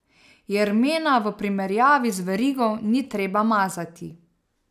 Jermena v primerjavi z verigo ni treba mazati.